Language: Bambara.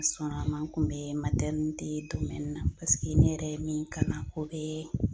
Sɔnr'a ma n kun be na paseke ne yɛrɛ ye min kalan o bee